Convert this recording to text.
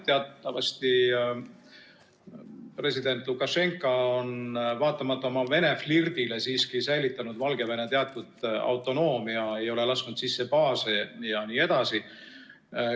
Teatavasti on president Lukašenka, vaatamata oma Vene-flirdile, siiski säilitanud Valgevene teatud autonoomia, ei ole lasknud sisse baase jne.